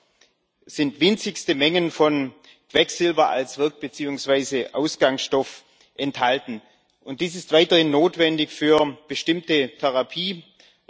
Dort sind winzigste Mengen von Quecksilber als Wirk beziehungsweise Ausgangsstoff enthalten, und dies ist weiterhin notwendig für bestimmte Therapieformen.